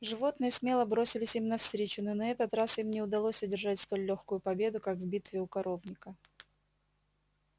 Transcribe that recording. животные смело бросились им навстречу но на этот раз им не удалось одержать столь лёгкую победу как в битве у коровника